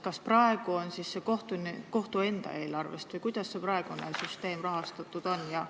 Kas praegu tuleb see raha kohtu enda eelarvest või kuidas see praegune süsteem rahastatud on?